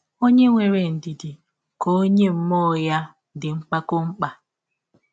Ọnye nwere ndidi ka ọnye mmụọ ya dị mpakọ mma.